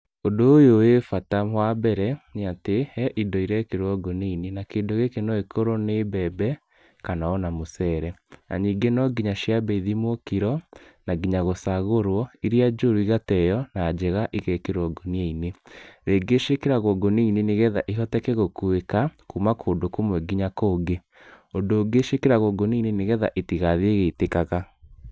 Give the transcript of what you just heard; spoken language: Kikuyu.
Ũndũ ũyũ wĩ bata, wa mbere, nĩ atĩ he indo irekĩrwo ngũnia-inĩ na kĩndũ gĩkĩ no gĩkorwo nĩ mbembe kana o na mũceere na ningĩ no nginya ciambe ithimwo kiro na nginya gũcagũrwo, iria njũru igateo na njega igekĩrwo ngũnia-inĩ. Rĩngĩ ciĩkĩragwo ngũnia-inĩ nĩ getha cihoteke gũkuĩka kuma kũndũ kũmwe nginya kũngĩ. Ũndũ ũngĩ ciĩkĩragwo ngũnia-inĩ nĩ getha itigathiĩ igĩitĩkaga.